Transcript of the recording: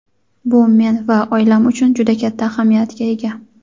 Bu men va oilam uchun juda katta ahamiyatga ega.